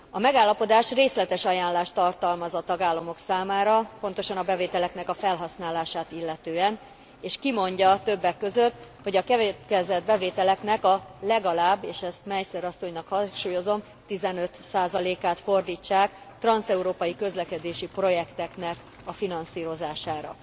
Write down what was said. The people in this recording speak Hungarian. A megállapodás részletes ajánlást tartalmaz a tagállamok számára, pontosan a bevételeknek a felhasználását illetően, és kimondja többek között, hogy a keletkezett bevételeknek a legalább és ezt Meissner asszonynak hangsúlyozom 15 át fordítsák transzeurópai közlekedési projekteknek a finanszírozására.